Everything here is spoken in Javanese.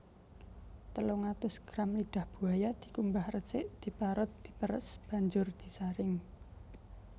Telung atus gram lidah buaya dikumbah resik diparut diperes banjur disaring